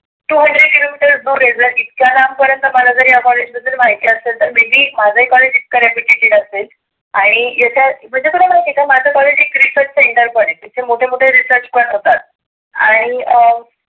two hundred kilometers दुर इतक्या लांब आहे. जर इतक्या लांब पर्यंत मला जर या कॉलेज माहिती असेल तर maybe माझ कॉलेज reputed असेल. आणि याच्या म्हणजे तुला माहिती आहे का माझ कॉलेज एक कॉलेज आहे. इथे मोठे मोठे research पण होतात. आणि अं